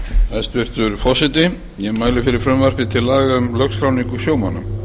hæstvirtur forseti ég mæli fyrir frumvarpi til laga um lögskráningu sjómanna